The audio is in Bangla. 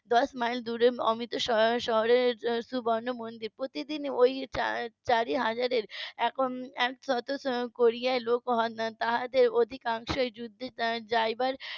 দশ মাইল দূরে অমৃত শহরে সুবর্ণ মন্দির প্রতিদিন ওই চারি হাজারের . তাদের অধিকাংশই যুদ্ধে যাবার